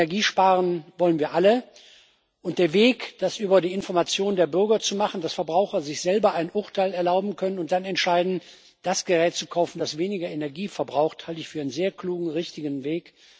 Energie sparen wollen wir alle, und den Weg, das über die Information der Bürger zu machen, dass Verbraucher sich selber ein Urteil erlauben können und dann entscheiden, das Gerät zu kaufen, das weniger Energie verbraucht, halte ich für einen sehr klugen und richtigen Weg.